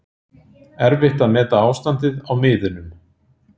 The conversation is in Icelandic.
Erfitt að meta ástandið á miðunum